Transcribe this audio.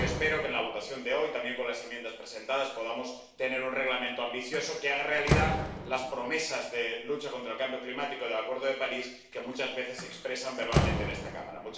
Por ello, yo espero que, en la votación de hoy, también con las enmiendas presentadas, podamos tener un Reglamento ambicioso que haga realidad las promesas de lucha contra el cambio climático del Acuerdo de París, que muchas veces se expresan verbalmente en esta Cámara.